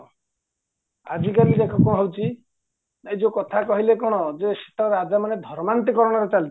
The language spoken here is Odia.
ଆଜି କଲି ଦେଖ କ'ଣ ହଉଚି ନା ଏଇଯୋଉଁ କଥା କହିଲେ କ'ଣ ଯେ ସେତେବେଳେ ରାଜାମାନେ ଧର୍ମାନ୍ତୀକରଣରେ ଚାଲିଥିଲେ